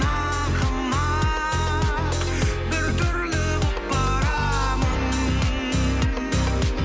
ақымақ біртүрлі болып барамын